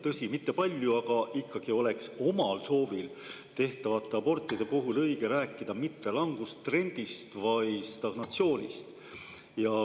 Tõsi, mitte palju, aga siiski on omal soovil tehtavate abortide puhul õigem rääkida mitte langustrendist, vaid stagnatsioonist.